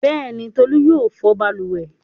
Bẹ́ẹ̀ni, Tolú yóò fọ balùwẹ̀.